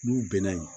N'u bɛnna yen